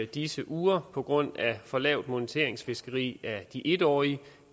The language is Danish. disse uger på grund af for lavt moniteringsfiskeri af de en årige